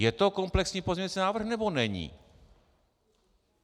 Je to komplexní pozměňovací návrh, nebo není?